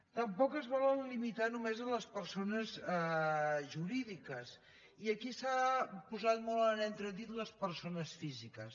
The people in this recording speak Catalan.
tampoc es vol limitar només a les persones jurídiques i aquí s’han posat molt en entredit les persones físiques